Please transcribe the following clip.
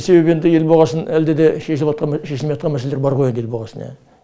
себебі енді ел болғасын әлде де шешілмей атқан мәселелер бар ғой енді ел болғасын ия